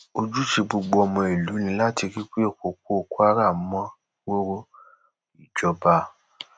ojúṣe gbogbo ọmọ ìlú ni láti rí i pé òpópó kwara mọ ròrò ìjọba